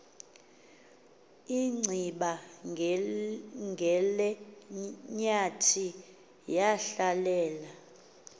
inciba ngelenyathi yahlalela